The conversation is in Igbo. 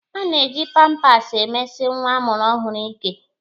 A na-eji pampas emesi nwa a mụrụ ọhụrụ ike.